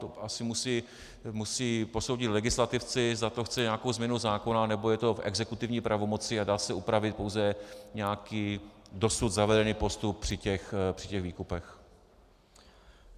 To asi musí posoudit legislativci, zda to chce nějakou změnu zákona, nebo je to v exekutivní pravomoci a dá se upravit pouze nějaký dosud zavedený postup při těch výkupech.